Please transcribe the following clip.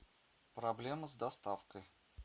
проблема с доставкой